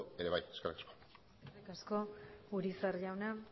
baterako ere bai eskerrik asko eskerrik asko urizar jauna